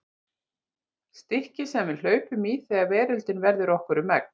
Stikkið sem við hlaupum í þegar veröldin verður okkur um megn.